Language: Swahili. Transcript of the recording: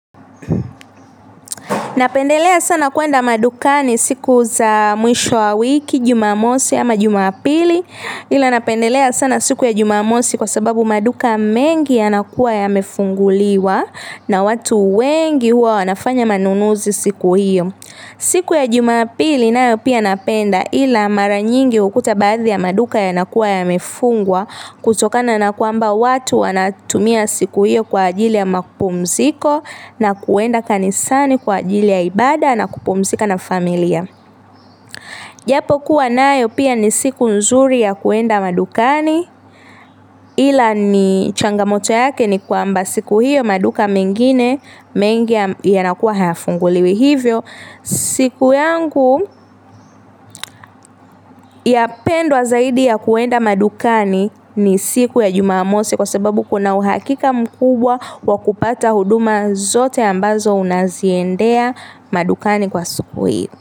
Ninapendelea sana kwenda madukani siku za mwisho wa wiki jumamosi ama jumapili, ila napendelea sana siku ya jumamosi kwa sababu maduka mengi yanakuwa yamefunguliwa na wetu wengi huwa wanafanya manunuzi siku hiyo siku ya jumapili nayo pia napenda ila mara nyingi ukute baadhi ya maduka yanakuwa yamefungwa kutokana na kwamba watu wanatumia siku hiyo kwa ajili ya mapumziko na kuenda kanisani kwa ajili ya ibaada na kupumzika na familia japo kuwa nayo pia ni siku nzuri ya kuenda madukani ila ni changamoto yake ni kwamba siku hiyo maduka mengine mengi yanakuwa hayafunguliwi hivyo siku yangu yapendwa zaidi ya kuenda madukani ni siku ya jumamosi kwa sababu kuna uhakika mkubwa wa kupata huduma zote ambazo unaziendea madukani kwa siku hii.